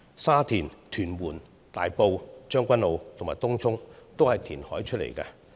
沙田、屯門、大埔、將軍澳和東涌，都是填海出來的。